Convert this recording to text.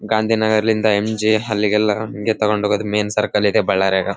ಅವರು ಅಲ್ಲಿ ಆಟೋ ದಲ್ಲಿ ಕರ್ಕೊಂಡು ಹೋದ್ತರ .